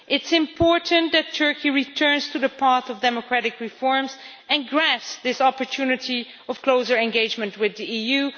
It is important that Turkey returns to the path of democratic reforms and grasps this opportunity of closer engagement with the EU.